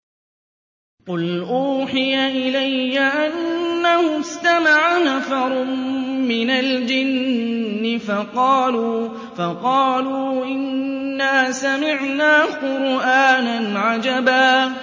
قُلْ أُوحِيَ إِلَيَّ أَنَّهُ اسْتَمَعَ نَفَرٌ مِّنَ الْجِنِّ فَقَالُوا إِنَّا سَمِعْنَا قُرْآنًا عَجَبًا